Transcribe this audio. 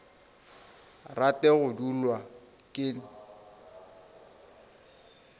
rate go dulwa ke nt